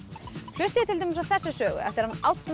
hlustið til dæmis á þessa sögu eftir hann Árna